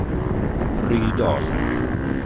Rydal